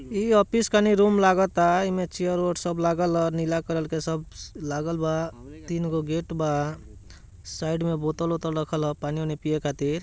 ये ऑफिस का नी रूम लागा ता ईमे चेयर वेयर सब लागल ला नीला कलर का सब लागल वा तीनगो गेट बा साइड में बोतल वोटल रखल ला पानी वानी पिया ख़ातिर।